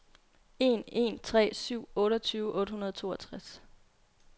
en en tre syv otteogtyve otte hundrede og toogtres